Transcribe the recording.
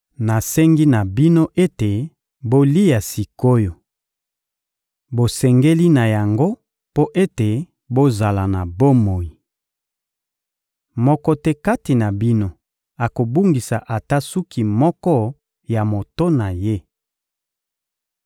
Nasengi na bino ete bolia sik’oyo. Bosengeli na yango mpo ete bozala na bomoi. Moko te kati na bino akobungisa ata suki moko ya moto na ye.